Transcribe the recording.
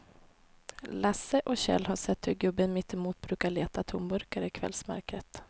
Lasse och Kjell har sett hur gubben mittemot brukar leta tomburkar i kvällsmörkret.